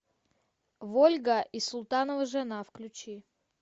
вольга и султанова жена включи